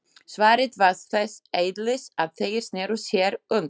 Svarið var þess eðlis að þeir sneru sér undan.